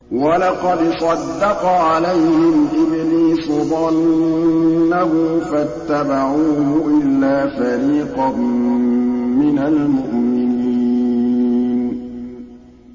وَلَقَدْ صَدَّقَ عَلَيْهِمْ إِبْلِيسُ ظَنَّهُ فَاتَّبَعُوهُ إِلَّا فَرِيقًا مِّنَ الْمُؤْمِنِينَ